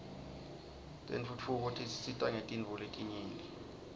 tentfutfuko tisisita ngetintfo letinyenti